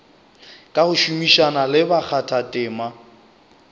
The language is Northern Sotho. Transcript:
ka go šomišana le bakgathatema